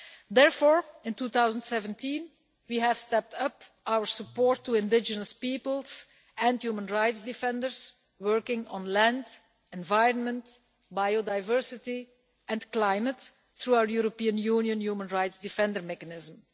Therefore, in 2017, we stepped up our support for indigenous peoples, and for human rights defenders working on land, environment, biodiversity and climate, through the European Union human rights defenders mechanism.